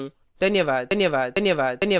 धन्यवाद